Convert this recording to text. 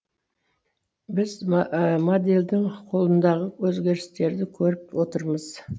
біз модельдің қолындағы өзгерістерді көріп отырмыз